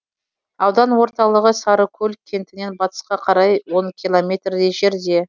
аудан орталығы сарыкөл кентінен батысқа қарай он километрдей жерде